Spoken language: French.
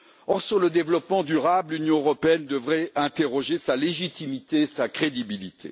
Or, sur le développement durable, l'Union européenne devrait interroger sa légitimité et sa crédibilité.